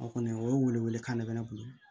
O kɔni o ye welewelekan de bɛ ne bolo